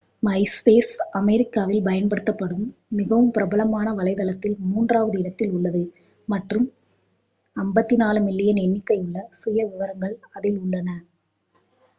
myspace அமெரிக்காவில் பயன்படுத்தப்படும் மிகவும் பிரபலமான வலைத்தளத்தில் மூன்றாவது இடத்தில் உள்ளது மற்றும் 54 மில்லியன் எண்ணிக்கையுள்ள சுயவிவரங்கள் அதில் உள்ளன